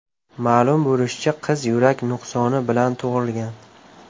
Ma’lum bo‘lishicha, qiz yurak nuqsoni bilan tug‘ilgan.